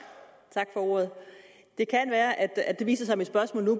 tak for ordet det kan være at det viser sig at mit spørgsmål nu